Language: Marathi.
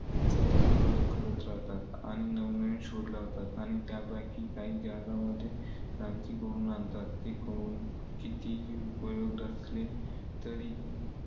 सतत प्रयोग करत राहातात आणि नवनवीन शोध लावतात आणि त्यापैकी काही जगांमध्ये क्रांती घडवून आणतात. कितीही उपयोग असले तरी